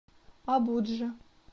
абуджа